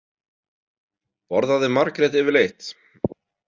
Borðaði Margrét yfirleitt?